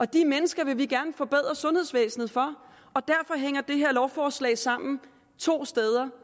de mennesker vil vi gerne forbedre sundhedsvæsenet for derfor hænger det her lovforslag sammen to steder